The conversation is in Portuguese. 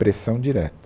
Pressão direta.